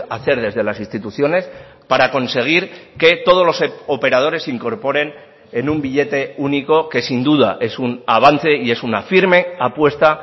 hacer desde las instituciones para conseguir que todos los operadores se incorporen en un billete único que sin duda es un avance y es una firme apuesta